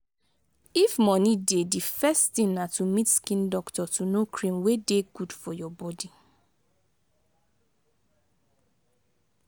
if money dey di first thing na to meet skin doctor to know cream wey dey good for your body